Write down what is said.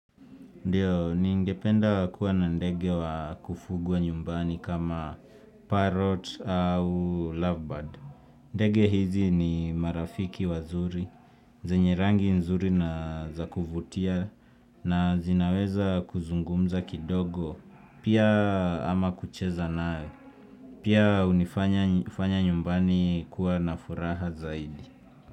Ndiyo, ningependa kuwa na ndege wa kufugwa nyumbani kama parrot au lovebird. Ndege hizi ni marafiki wazuri, zenye rangi nzuri na za kuvutia na zinaweza kuzungumza kidogo pia ama kucheza nawe. Pia hunifanya hufanya nyumbani kuwa na furaha zaidi.